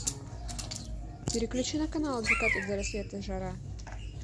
переключи на канал от заката до рассвета жара